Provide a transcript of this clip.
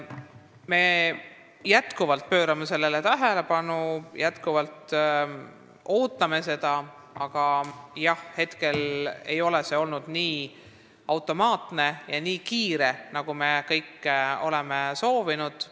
Me pöörame sellele tähelepanu ja ikka veel ootame seda, aga praegu ei ole see käinud nii automaatselt ja nii kiiresti, nagu me kõik sooviksime.